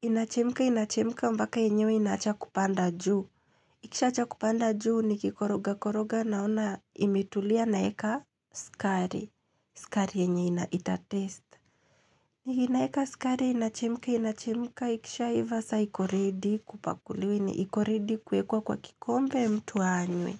Inachemka inachemka mbaka yenyewe inacha kupanda juu ikishacha kupanda juu nikikoroga koroga naona imetulia naeka sukari sukari yenye ina itatest ninaeka sukari inachemka inachemka ikisha hiva sa ikoredi kupakuliwa ni ikoredi kuekwa kwa kikombe mtu anywe.